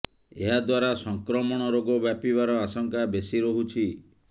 ଏହା ଦ୍ବାରା ସଂକ୍ରମଣ ରୋଗ ବ୍ୟାପିବାର ଆଶଙ୍କା ବେଶି ରହୁଛି